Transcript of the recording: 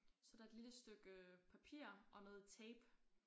Så der et lille stykke papir og noget tape